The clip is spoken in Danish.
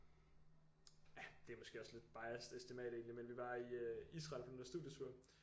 Det er måske også lidt biased estimat egentlig men vi var i Israel på den der studietur